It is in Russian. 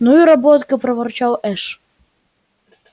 ну и работка проворчал эш